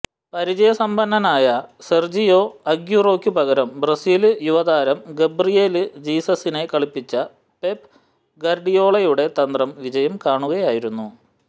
പരിചയസമ്പന്നനായ Sergio അഗ്യൂറോയ്ക്ക് പകരം Brazil യുവതാരം ഗബ്രിയേല് ജീസസിനെ കളിപ്പിച്ച പെപ്പ് ഗാര്ഡിയോളയുടെ തന്ത്രം വിജയം കാണുകയായിരുന്നു